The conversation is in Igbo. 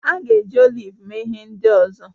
A ga-eji oliv mee ihe ndị ọzọ